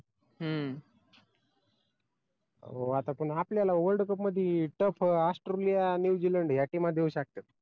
हम्म हो आता पण आपल्याला world cup मध्ये tough australia new zealand या टिमा देऊ शकतात